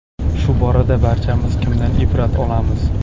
Shu borada barchamiz kimdan ibrat olamiz?